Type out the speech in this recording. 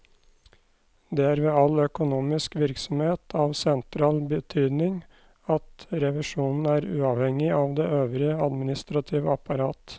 Det er ved all økonomisk virksomhet av sentral betydning at revisjonen er uavhengig av det øvrige administrative apparat.